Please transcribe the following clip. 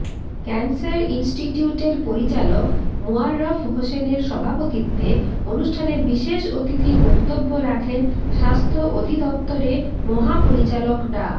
cancer ইনস্টিটিউটের পরিচালক মোয়াররফ হোসেনের সভাপতিত্বে অনুষ্ঠানে বিশেষ অতিথির বক্তব্য রাখেন স্বাস্থ্য অধিদফতরে মহাপরিচালক ডা